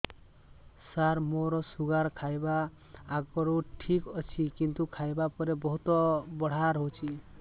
ସାର ମୋର ଶୁଗାର ଖାଇବା ଆଗରୁ ଠିକ ଅଛି କିନ୍ତୁ ଖାଇବା ପରେ ବହୁତ ବଢ଼ା ରହୁଛି